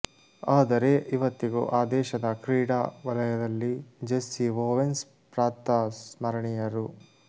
ಆದರೆ ಇವತ್ತಿಗೂ ಆ ದೇಶದ ಕ್ರೀಡಾ ವಲಯದಲ್ಲಿ ಜೆಸ್ಸಿ ಓವೆನ್ಸ್ ಪ್ರಾತಃ ಸ್ಮರಣೀಯರು